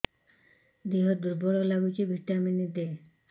ଦିହ ଦୁର୍ବଳ ଲାଗୁଛି ଭିଟାମିନ ଦେ